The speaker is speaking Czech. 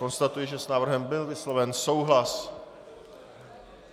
Konstatuji, že s návrhem byl vysloven souhlas.